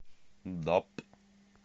даб